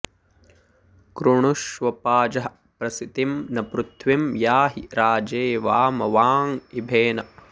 कृ॒णु॒ष्व पाजः॒ प्रसि॑तिं॒ न पृ॒थ्वीं या॒हि राजे॒वाम॑वा॒ँ इभे॑न